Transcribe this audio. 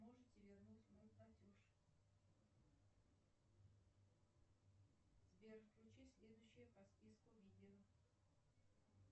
можете вернуть мой платеж сбер включи следующее по списку видео